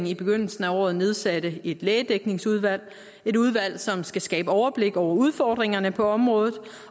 i begyndelsen af året nedsatte et lægedækningsudvalg et udvalg som skal skabe et overblik over udfordringerne på området